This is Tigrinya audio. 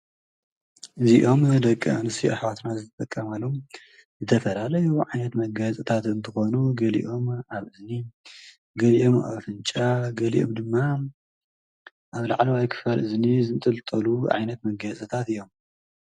እዚኦም ደቂ ኣንስትዮ ኣሕዋትና ዝጥቀማሎም ዝተፈላለዩ ዓይነት መጋየፅታት እንትኾኑ ገሊኦም ኣብ እዝኒ ፣ገሊኦም ኣብ ኣፍንጫ፣ ገሊኦም ድማ ኣብ ላዕለዋይ ክፋል እዝኒ ዝንጥልጠሉ ዓይነት መጋየፂታት እዮም።